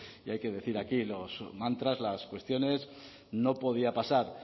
y hay que decir aquí los mantras las cuestiones no podía pasar